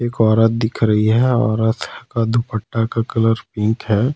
एक औरत दिख रही है औरत का दुपट्टा का कलर पिंक है।